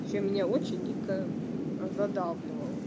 всё меня очень дико задалбливала